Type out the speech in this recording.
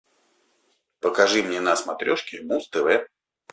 покажи мне на смотрешке муз тв